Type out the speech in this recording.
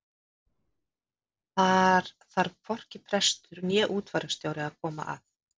þar þarf hvorki prestur né útfararstjóri að koma að